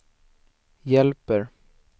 hjälper